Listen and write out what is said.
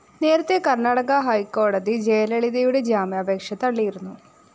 നേരത്തെ കര്‍ണാടക ഹൈക്കോടതി ജയലളിതയുടെ ജാമ്യാപേക്ഷ തള്ളിയിരുന്നു